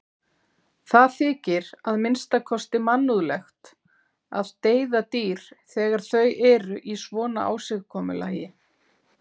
Það þykir að minnsta kosti mannúðlegt að deyða dýr þegar þau eru í svona ásigkomulagi.